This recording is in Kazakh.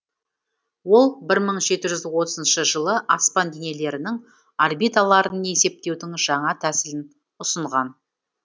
ол бір мың жеті жүз сексенінші жылы аспан денелерінің орбиталарын есептеудің жаңа тәсілін ұсынған